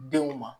Denw ma